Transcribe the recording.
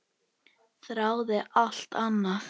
Þráði alltaf annað.